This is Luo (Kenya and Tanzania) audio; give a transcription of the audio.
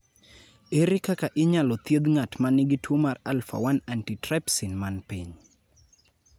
Ere kaka inyalo thieth ng�at ma nigi tuo mar alpha 1 antitrypsin man piny?